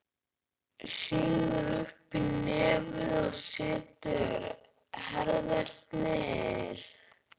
Sýgur upp í nefið og setur í herðarnar.